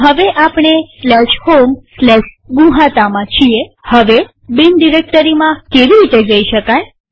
તો હવે આપણે homegnuhata માં છીએહવે બિન ડિરેક્ટરીમાં કેવી રીતે જઈ શકાય